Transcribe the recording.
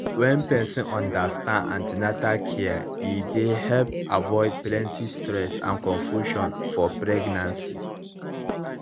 when person understand an ten atal care e dey help avoid plenty stress and confusion for pregnancy